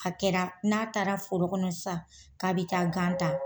A kɛra n'a taara forokɔnɔ sisan k'a bɛ taa gan ta